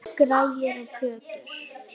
Græjur og plötur.